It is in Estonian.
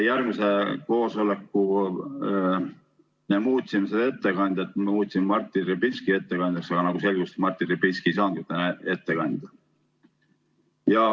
Järgmisel koosolekul me muutsime ettekandjat, määrasime Martin Repinski ettekandjaks, aga nagu selgus, Martin Repinski ei saanud täna ette kanda.